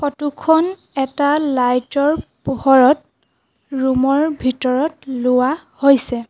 ফটোখন এটা লাইটৰ পোহৰত ৰুমৰ ভিতৰত লোৱা হৈছে।